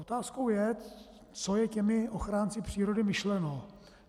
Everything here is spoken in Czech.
Otázkou je, co je těmi ochránci přírody myšleno.